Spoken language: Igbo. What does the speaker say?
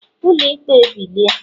ulo ikpe bilie!